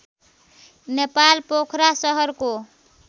नेपाल पोखरा सहरको